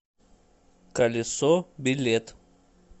колесо билет